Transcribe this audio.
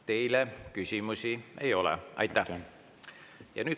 Teile küsimusi ei ole.